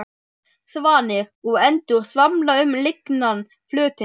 Svanir og endur svamla um lygnan flötinn.